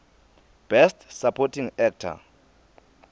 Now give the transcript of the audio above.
best supporting actor